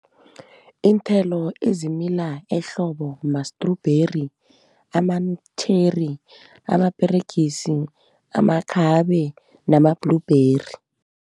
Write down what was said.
Iinthelo ezimila ehlobo mastrubheri, ama-cherry, amaperegisi, amakhabe nama-blueberry.